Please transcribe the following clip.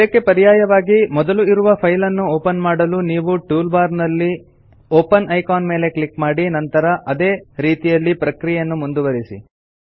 ಇದಕ್ಕೆ ಪರ್ಯಾಯವಾಗಿ ಮೊದಲು ಇರುವ ಫೈಲ್ ನ್ನು ಓಪನ್ ಮಾಡಲು ನೀವು ಟೂಲ್ ಬಾರ್ ನಲ್ಲಿ ಒಪೆನ್ ಐಕಾನ್ ಮೇಲೆ ಕ್ಲಿಕ್ ಮಾಡಿ ನಂತರ ಅದೇ ರೀತಿಯಲ್ಲಿ ಪ್ರಕ್ರಿಯೆಯನ್ನು ಮುಂದುವರೆಸಿ